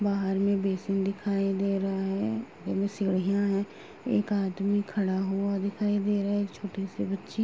बाहर में बेसिन दिखाई दे रहा है। इनमें सीढियां हैं। एक आदमी खड़ा हुआ दिखाई दे रहा है। एक छोटी से बच्ची --